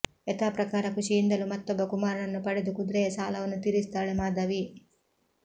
ಯಥಾಪ್ರಕಾರ ಋಷಿಯಿಂದಲೂ ಮತ್ತೊಬ್ಬ ಕುಮಾರನನ್ನು ಪಡೆದು ಕುದುರೆಯ ಸಾಲವನ್ನು ತೀರಿಸುತ್ತಾಳೆ ಮಾಧವಿ